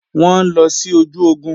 Wọ́n ń lọ sí ojú ogun